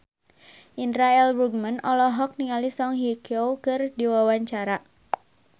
Indra L. Bruggman olohok ningali Song Hye Kyo keur diwawancara